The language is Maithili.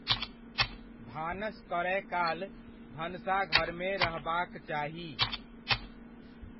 भानस करय काल भनसाघरमे रहबाक चाही।